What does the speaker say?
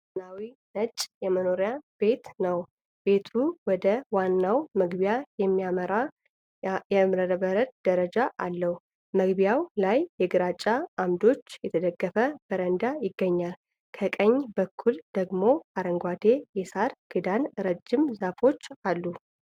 ዘመናዊ ነጭ የመኖሪያ ቤት ነው። ቤቱ ወደ ዋናው መግቢያ የሚያመራ የእብነበረድ ደረጃ አለው። መግቢያው ላይ በግራጫ ዓምዶች የተደገፈ በረንዳ ይገኛል። ከቀኝ በኩል ደግሞ አረንጓዴ የሣር ክዳን እና ረጃጅም ዛፎች አሉ።